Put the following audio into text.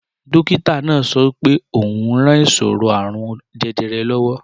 Dókítà náà sọ pé ó ń ran ìṣòro àrùn jẹjẹrẹ lọ́wọ́